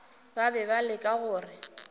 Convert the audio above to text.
ba be ba leka go